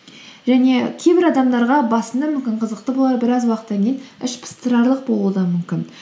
және кейбір адамдарға басында мүмкін қызықты болар біраз уақыттан кейін ішпыстырарлық болуы да мүмкін